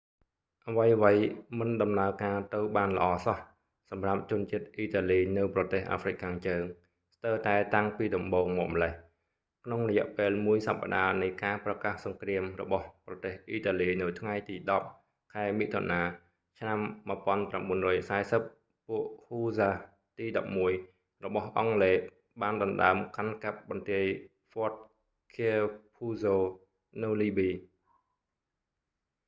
អ្វីៗមិនដំណើរការទៅបានល្អសោះ សម្រាប់ជនជាតិអ៊ីតាលីនៅប្រទេសអាហ្វ្រិកខាងជើង ស្ទើរតែតាំងពីដំបូងមកម្លេះ ក្នុងរយៈពេលមួយសប្តាហ៍នៃការប្រកាសសង្គ្រាមរបស់ប្រទេសអ៊ីតាលីនៅថ្ងៃទី 10 ខែមិថុនាឆ្នាំ 1940 ពួកហ៊ូស្សាស៍ទី 11 របស់អង់គ្លេសបានដណ្តើមកាន់កាប់បន្ទាយ ហ្វតឃែភូហ្សូ fort capuzzo នៅលីប៊ី